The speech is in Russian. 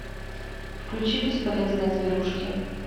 включи бесполезные зверушки